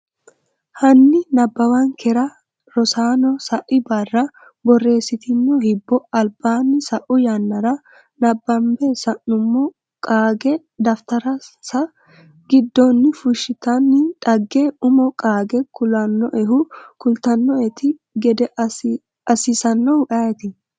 Hanni nabbawankera Rosaano sai barra borreessitino hibbo albaani sa’u yannara nabbambe sa’nummo qaagge daftarinsa giddonni fushshitanno dhagge umo qaage kulannoehu kultannoeti gede assinsanohu ayeeti?